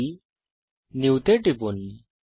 ফাইলেগটগট save as টিপুন